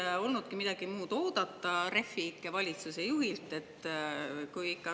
No ei olnudki midagi muud oodata Refi ikke valitsuse juhilt!